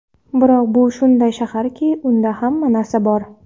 Biroq bu shunday shaharki, unda hamma narsa bor!